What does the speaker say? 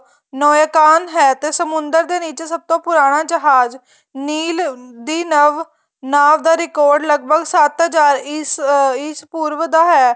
ਮਾਏਕਾੰਤ ਹੈ ਤੇ ਸਮੁੰਦਰ ਦੇ ਨੀਚੇ ਸਭ ਤੋਂ ਪੁਰਾਣਾ ਜਹਾਜ ਨੀਲ ਦੀ ਨਵ ਨਾਵ ਦਾ record ਲੱਗਭਗ ਸੱਤ ਹਜ਼ਾਰ ਇਸ ਪੂਰਵ ਦਾ ਹੈ